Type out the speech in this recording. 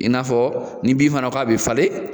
I n'a fɔ ni bin fana k'a bɛ falen